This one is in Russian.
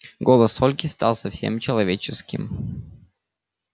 голос ольги стал совсем человеческим